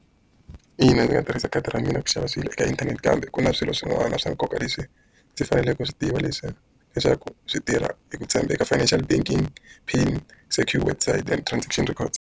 Ina ndzi nga tirhisa khadi ra mina ku xava swilo eka inthanete kambe, ku na swilo swin'wana swa nkoka leswi ndzi faneleke ku swi tiva. leswaku swi tirha hi ku tshembeka financial banking PIN, secure and transaction records.